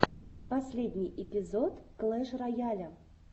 последний эпизод клэш рояля